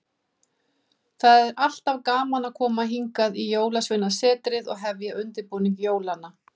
Það er alltaf gaman að koma hingað í Jólasveinasetrið og hefja undirbúning jólanna.